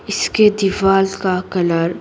इसके दीवार का कलर --